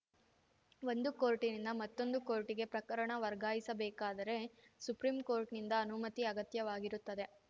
ಒಂದು ಕೋರ್ಟಿನಿಂದ ಮತ್ತೊಂದು ಕೋರ್ಟಿಗೆ ಪ್ರಕರಣ ವರ್ಗಾಯಿಸಬೇಕಾದರೆ ಸುಪ್ರಿಂ ಕೋರ್ಟ್‌ನಿಂದ ಅನುಮತಿ ಅಗತ್ಯವಾಗಿರುತ್ತದೆ